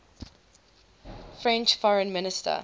french foreign minister